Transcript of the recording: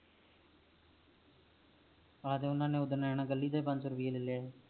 ਹਾਂ ਤੇ ਓਨਾ ਨੇ ਓਦਰ ਇੰਦਾ ਕੱਲੀ ਦਾ ਪਾਂਜ ਸੋ ਰਪੇ ਲੈ ਲਿਆ ਸੀ